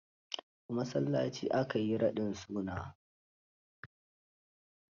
A masallaci aka yi raɗin sunan?